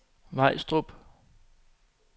Vejstrup